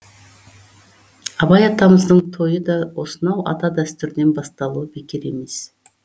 абай атамыздың тойы да осынау ата дәстүрден басталуы бекер емес